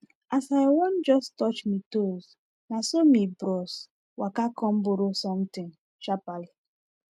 as i wan jus touch mi toes naso mi bros waka com borrow sontin sharperly